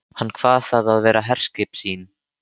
Hann kvað það vera herskip sín.